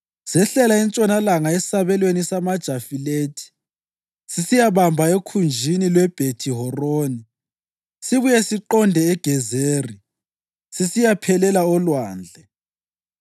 sehlela entshonalanga esabelweni samaJafilethi sisiyabamba ekhunjini lweBhethi-Horoni, sibuye siqonde eGezeri, sisiyaphelela olwandle.